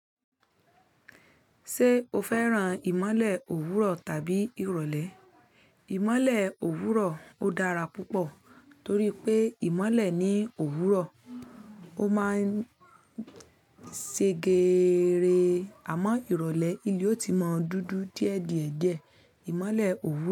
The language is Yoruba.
Ṣé o fẹ́ràn ìmọ̀le òwúrọ̀ tàbí ìrọ̀lẹ́? Ìmọ̀le òwúrọ̀ ó dára púpọ̀ torí pé ìmọ̀le ni òwúrọ̀ ó máa ń ṣe geere. Àmọ́ ìrọ̀lẹ́, ilé ti mọ̀ dudu díẹ̀díẹ̀ díẹ̀. Ìmọ̀le òwúrọ̀